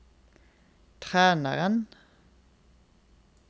treneren